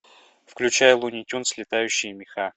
включай луни тюнз летающие меха